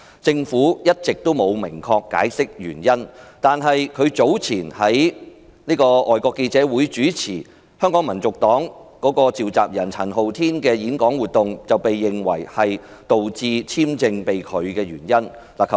政府一直沒有明確解釋原因，但他早前在外國記者會主持香港民族黨召集人陳浩天的演講活動，被認為是導致簽證被拒的原因。